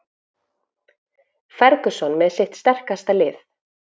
Ferguson með sitt sterkasta lið